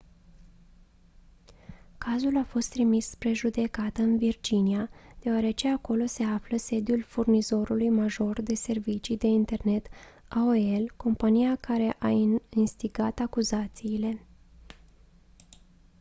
cazul a fost trimis spre judecată în virginia deoarece acolo se află sediul furnizorului major de servicii de internet aol compania care a instigat acuzațiile